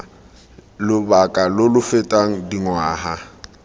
lobaka lo lo fetang dingwaga